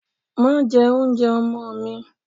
Màá jẹ oúnjẹ ọmọ mi!